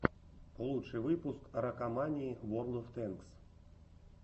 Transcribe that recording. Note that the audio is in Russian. лучший выпуск ракомании ворлд оф тэнкс